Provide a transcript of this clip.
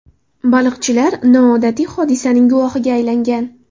Baliqchilar noodatiy hodisaning guvohiga aylangan.